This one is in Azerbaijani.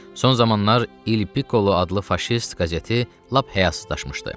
Son zamanlar Il Piccolo adlı faşist qəzeti lap həyasızlaşmışdı.